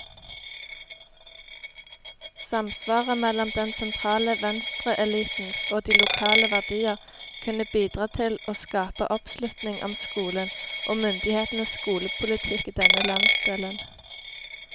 Samsvaret mellom den sentrale venstreelitens og de lokale verdier kunne bidra til å skape oppslutning om skolen, og myndighetenes skolepolitikk i denne landsdelen.